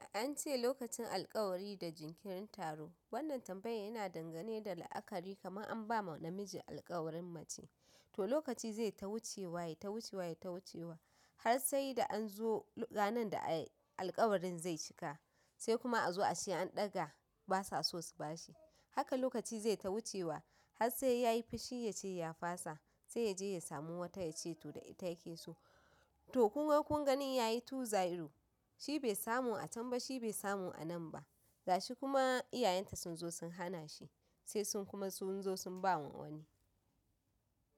An ce lokacin alkawari da jinkirin taro. Wannan tambayan yana dangane da la'akari kamar an ba ma namiji alƙawarin mace to lokaci zai ta wucewa yata wucewa yata wucewa har sai da an zo ranar da alƙawarin zai cika sai kuma a zo a ce an ɗaga basa so su bashi. Haka lokaci zai ta wucewa har sai ya yi fushi ya ce ya fasa sai yaje ya samu wata ya ce to da ita yake so. To kunga kun gani ya yi tu zero shi bai samu a can ba shi bai samu a nan ba. Gashi kuma iyayenta sun zo sun hanashi sai sun kuma sun ba ma wani.